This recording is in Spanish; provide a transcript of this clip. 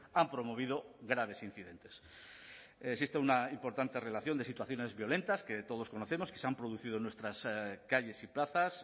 han promovido graves incidentes existe una importante relación de situaciones violentas que todos conocemos que se han producido en nuestras calles y plazas